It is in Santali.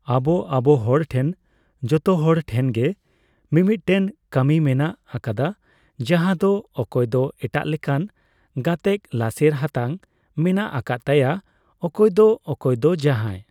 ᱟᱵᱚ ᱟᱵᱚ ᱦᱚᱲᱴᱷᱮᱱ ᱡᱷᱚᱛᱚᱦᱚᱲ ᱴᱷᱮᱱᱜᱮ ᱢᱤᱫᱢᱤᱫᱴᱮᱱ ᱠᱟᱹᱨᱤ ᱢᱮᱱᱟᱜ ᱟᱠᱟᱫᱟ ᱡᱟᱦᱟᱸᱭ ᱫᱚ ᱚᱠᱚᱭ ᱫᱚ ᱮᱴᱟᱜ ᱞᱮᱠᱟᱱ ᱜᱟᱛᱮᱜ ᱞᱟᱥᱮᱨ ᱦᱟᱛᱟᱝ ᱢᱮᱱᱟᱜ ᱟᱠᱟᱫ ᱛᱟᱭᱟ ᱚᱠᱚᱭ ᱫᱚ ᱚᱠᱚᱭ ᱫᱚ ᱡᱟᱦᱟᱸᱭ ᱾